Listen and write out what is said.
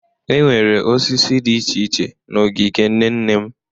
Enwere osisi dị iche iche n'ogige nne nne m.